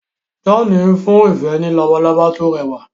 John n fún ìfẹ ní Labalábá to rẹwà